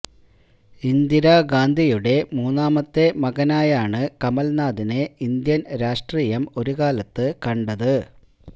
ഇന്ദിരാ ഗാന്ധിയുടെ മൂന്നാമത്തെ മകനായാണ് കമല്നാഥിനെ ഇന്ത്യന് രാഷ്ട്രീയം ഒരു കാലത്ത് കണ്ടത്